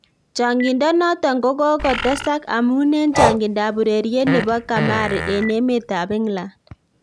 Chang'indonoton kogotesak amun en chang'indab ureriet nebo kamari en emetab England